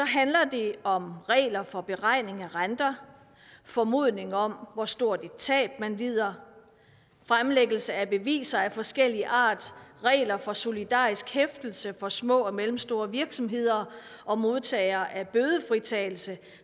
handler det om regler for beregning af renter formodninger om hvor stort et tab man lider fremlæggelse af beviser af forskellig art regler for solidarisk hæftelse for små og mellemstore virksomheder og modtagere af bødefritagelse